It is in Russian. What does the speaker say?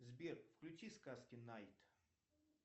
сбер включи сказки найт